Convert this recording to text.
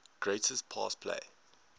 greatest pass play